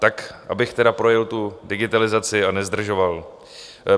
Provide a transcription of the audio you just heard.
Tak abych tedy projel tu digitalizaci a nezdržoval.